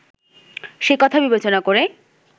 সেকথা বিবেচনা করেই